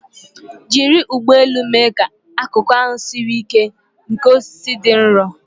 Jiri ụgbọ elu mee ka akụkụ ahụ siri ike nke osisi dị nro.